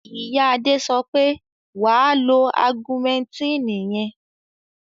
Ìyá Adé sọ pé, "wà á lo augumẹntínì yẹn!".